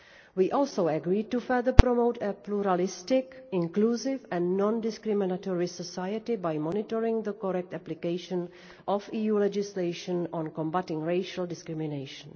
hatred. We also agreed to promote further a pluralistic, inclusive and non discriminatory society by monitoring the correct application of EU legislation on combating racial discrimination.